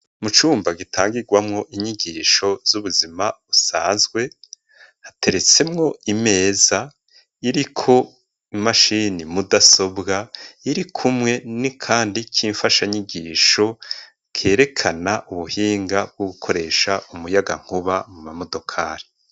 Mu cumba gitangirwamo inyigisho z'ubuzima busanzwe hateretsemwo imeza iriko imashini mudasobwa irikumwe n'akandi c'imfasha nyigisho kerekana ubuhinga bwo gukoresha umuyagankuba mu mamodokari.